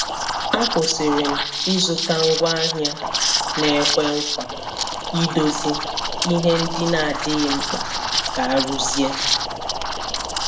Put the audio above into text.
A kwụsịrị m ịzụta ngwaahịa na-ekwe nkwa idozi ihe ndị na-adịghị mkpa ka a rụzie.